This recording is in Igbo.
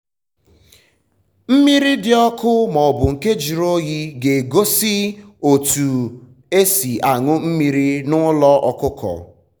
mmiri dị ọkụ maọbụ nke juru oyi ga egosi otu otu esi añu mmiri na ụlọ ọkụkọ